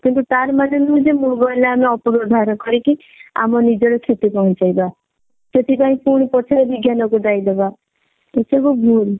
କିନ୍ତୁ ତାର ମାନେ ନୁହଁ ଯେ mobile ର ଆମେ ଅପବ୍ୟବହାର କରିକି ଆମ ନିଜ ର କ୍ଷତି ପହଞ୍ଚେଇବା ସେଥିପାଇଁ ପୁଣି ପଛରେ ବିଜ୍ଞାନ କୁ ଦାୟୀ ଦବା ଏସବୁ ଭୁଲ।